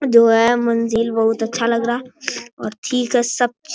दो हैं मंजिल बहुत अच्छा लग रहा और ठीक है सब ची --